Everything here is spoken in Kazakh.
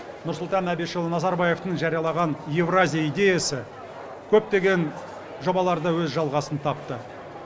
нұрсұлтан әбішұлы назарбаевтың жариялаған еуразия идеясы көптеген жобаларда өз жалғасын тапты